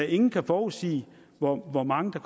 ingen kan forudsige hvor hvor mange der